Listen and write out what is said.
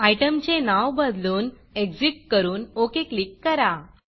आयटमचे नाव बदलून Exitएग्ज़िट करून OKओके क्लिक करा